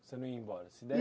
Você não ia embora?